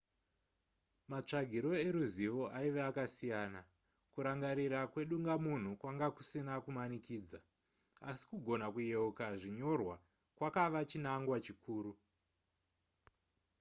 matsvagiro eruzivo aive akasiyana. kurangarira kwedungamunhu kwanga kusina kumanikidza asi kugona kuyeuka zvinyorwa kwakave chinangwa chikuru